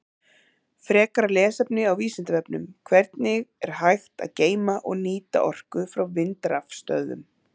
Frekara lesefni á Vísindavefnum: Hvernig er hægt að geyma og nýta orku frá vindrafstöðvum?